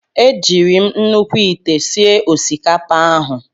E jiiri m nnukwu ite sie osikapa ahụ.